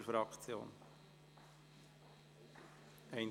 Oder als Fraktionssprecher?